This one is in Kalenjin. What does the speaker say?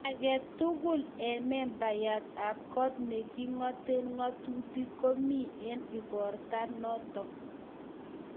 agetuguk eng membayat ab kot ne kingate ngatutik ko komie eng igorto notok